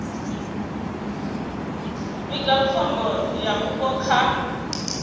vhiga khombo ya vhupo kha